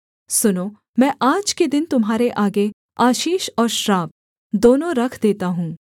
सुनो मैं आज के दिन तुम्हारे आगे आशीष और श्राप दोनों रख देता हूँ